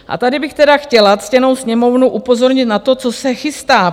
A tady bych tedy chtěla ctěnou Sněmovnu upozornit na to, co se chystá.